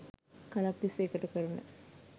කලක් තිස්සේ එකට කරන